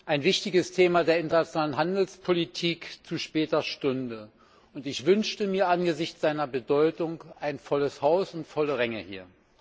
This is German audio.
Ein wichtiges Thema der internationalen Handelspolitik zu später Stunde und ich wünschte mir angesichts seiner Bedeutung ein volles Haus und volle Ränge hier!